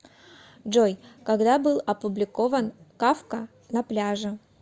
джой когда был опубликован кафка на пляже